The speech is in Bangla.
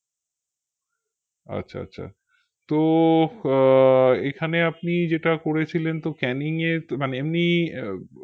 আচ্ছা আচ্ছা তো আহ এখানে আপনি যেটা করেছিলেন তো ক্যানিং এ মানে এমনি